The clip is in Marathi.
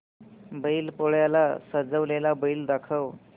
बैल पोळ्याला सजवलेला बैल दाखव